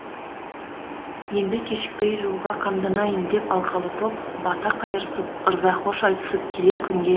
енді кешікпей жолға қамданайын деп алқалы топ бата қайырысып ырза хош айтысып келер күнге